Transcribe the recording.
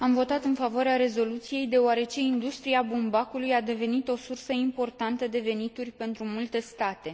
Am votat în favoarea rezoluției, deoarece industria bumbacului a devenit o sursă importantă de venituri pentru multe state.